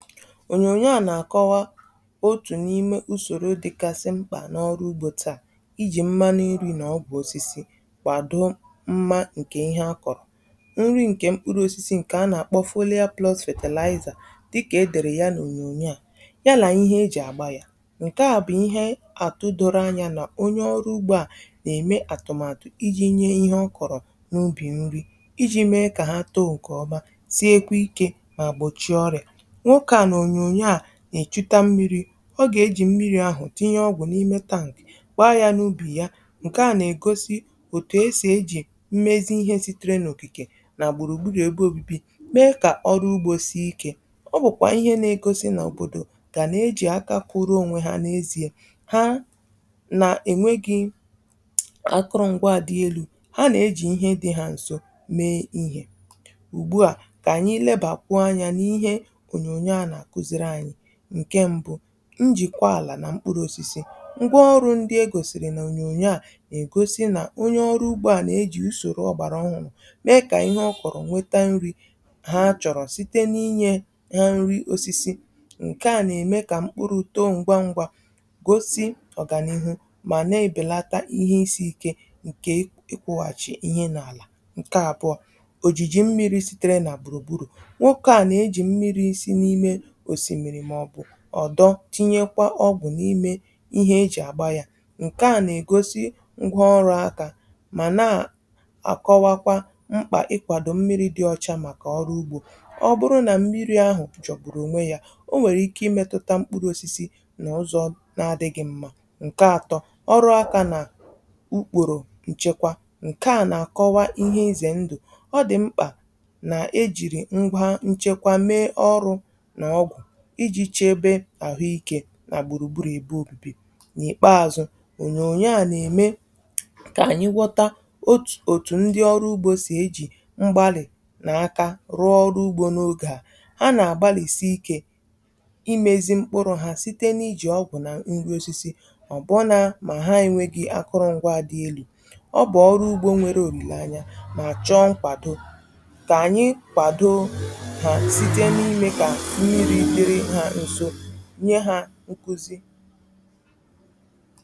Ònyònyo a na-akọwa otu n'ime usoro dị ka isi mkpa n’ọrụ ugbo taa: iji mma nri na ọ bụ osisi kwadoro mma. Nke ihe a kọrọ nri, nke mkpụrụ osisi, nke a na-akpọ foliyo plọs fètèlaịzà dị ka e dere ya n’ònyònyo a, ya bụ ihe eji agba ya. Nke a bụ ihe a tụrụ doro anya na onye ọrụ ugbo a na-eme atụmatụ iji nye ihe o kọrọ n’ubi nri, iji mee ka ha too nke ọma, siekwa ike, ma gbochie ọrịa. Na-echụtà mmiri, ọ ga-eji mmiri ahụ tinye ọgwụ n’ime tankị, kpaa ya n’ubi ya. Nke a na-egosi otu e si eji mmezi ihe sitere na traịna, okirikiri na gburugburu ebe obibi, mee ka ọrụ ugbo sie ike. Ọ bụkwa ihe na-egosi na obodo ga na-eji aka kụrụ onwe ha n’ezie ha, na enweghị akụrụngwa dị elu, ha na-eji ihe dị ha nso mee ihe. Ugbu a ka anyị leba anya n’ihe nke mbụ: njikwa ala na mkpụrụ osisi. Ngwaọrụ ndị e gosiri na onyonyo a na-egosi na onye ọrụ ugbo a na-eji usoro ọhụrụ mee ka ihe ọ kọrọ nweta nri(um) ha chọọrọ site n’inyefe ha nri osisi. Nke a na-eme ka mkpụrụ uto ngwa ngwa, gosi ọganihu, ma na-ebelata ihe isi ike nke ikwughachi ihe n’ala. Nke abuo bụ ojiji mmiri sitere na burugburu ọdọ, tinyekwa ọgwụ n’ime ihe eji agba ya. Nke a na-egosi ngwa ọrụ aka, ma na-akọwakwa mkpa ikwado mmiri dị ọcha maka ọrụ ugbo. Ọ bụrụ na mmiri ahụ jobụrụ onwe ya, o nwere ike imetụta mkpụrụ osisi n’ụzọ na-adịghị mma. Nke atọ bụ ọrụ aka na ukporo nchekwa. Nke a na-akọwa ihe ize ndụ o dị mkpa na-eji ngwa nchekwa mee ọrụ, iji chebe ahụ ike na gburugburu ebe obibi. Na ikpeazụ, onyonyo a na-eme ka anyị ghọta otu ndị ọrụ ugbo si eji mgbalị na aka rụọ ọrụ ugbo n’oge a. Ha na-agbalịsi ike imezi mkpụrụ ha site n’iji ọgwụ na nrube isi, ma ọ bụ na ha enweghi akụrụngwa dị elu. Ọ bụ ọrụ ugbo nwere olileanya, ma chọọ nkwado. Ka anyị kwado(um) nkuzi na-ede ha nso, nye ha nkuzi.